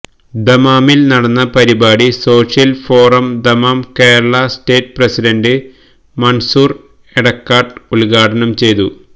ദമ്മാമില് നടന്ന പരിപാടി social forum Dammam Kerala state president Mansoor Edakkad ഉദ്ഘാടനം ചെയ്തു